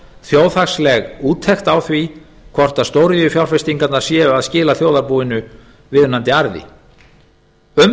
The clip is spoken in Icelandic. þjóðhagsleg úttekt á því hvort stóriðjufjárfestingarnar séu að skila þjóðarbúinu viðunandi arði um